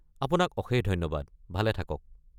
আপোনাক অশেষ ধন্যবাদ, ভালে থাকক।